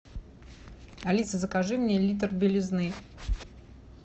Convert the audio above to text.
алиса закажи мне литр белизны